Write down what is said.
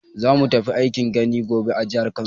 Za mu tafi aikin gini gobe a jihar Kano.